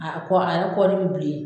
A kɔ a yrɛ kɔni bi bilen